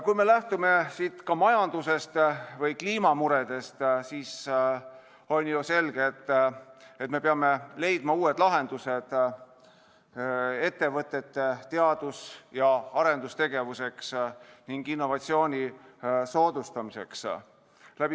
Kui me lähtume siin ka majandusest või kliimamuredest, siis on ju selge, et me peame leidma uued lahendused ettevõtete teadus- ja arendustegevuseks ning innovatsiooni soodustamiseks.